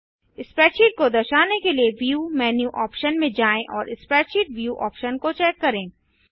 spreadsheet को दर्शाने के लिए व्यू मेन्यू ऑप्शन में जाएँ और स्प्रेडशीट व्यू ऑप्शन को चेक करें